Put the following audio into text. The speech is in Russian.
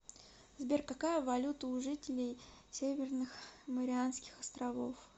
сбер какая валюта у жителей северных марианских островов